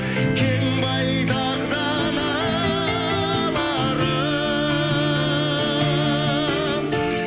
кең байтақ даналарым